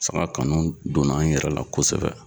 Saga kanu donna n yɛrɛ la kosɛbɛ